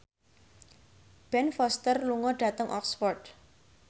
Ben Foster lunga dhateng Oxford